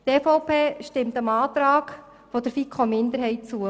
Die EVP stimmt dem Antrag der FiKo-Minderheit zu.